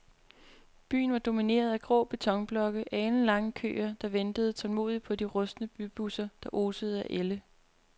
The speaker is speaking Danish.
Byen var domineret af grå betonblokke og alenlange køer, der ventede tålmodigt på de rustne bybusser, der osede af ælde.